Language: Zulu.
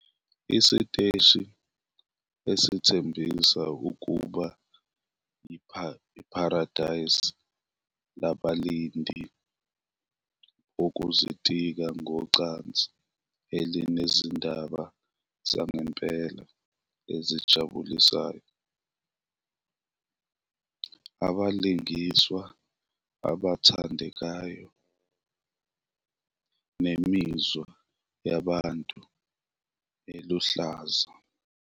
Isiteshi esithembisa ukuba yipharadesi labalindi bokuzitika ngocansi elinezindaba zangempela ezijabulisayo, abalingiswa abathandekayo, nemizwa yabantu eluhlaza.